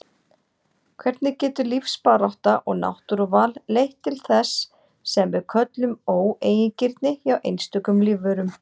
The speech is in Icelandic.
Hvernig getur lífsbarátta og náttúruval leitt til þess sem við köllum óeigingirni hjá einstökum lífverum?